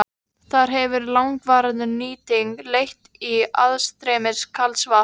Þar hefur langvarandi nýting leitt til aðstreymis kalds vatns.